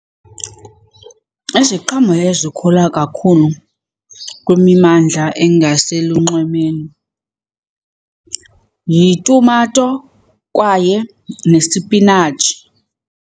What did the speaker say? Iziqhamo ezikhula kakhulu kwimimmandla engaselunxwemeni yitumato kwaye nesipinatshi.